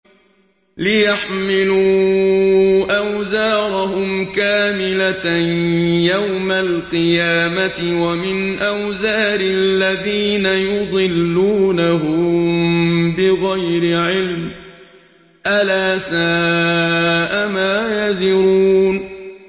لِيَحْمِلُوا أَوْزَارَهُمْ كَامِلَةً يَوْمَ الْقِيَامَةِ ۙ وَمِنْ أَوْزَارِ الَّذِينَ يُضِلُّونَهُم بِغَيْرِ عِلْمٍ ۗ أَلَا سَاءَ مَا يَزِرُونَ